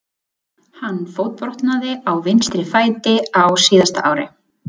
Hann fótbrotnaði á vinstri fæti á síðasta ári.